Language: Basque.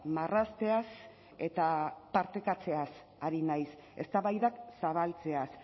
marrazteaz eta partekatzeaz ari naiz eztabaidak zabaltzeaz